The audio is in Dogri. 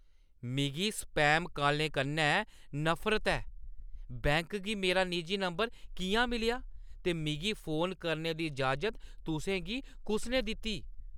मिगी स्पैम कालें कन्नै नफरत ऐ। बैंक गी मेरा निजी नंबर किʼयां मिलेआ ते मिगी फोन करने दी इजाज़त तुसें गी कुस ने दित्ती?